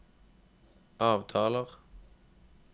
avtaler